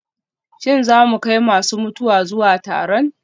Shin za mu kai masu mutuwa zuwa taron?